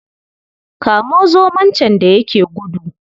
Kamo zomo can da ya yake gudu.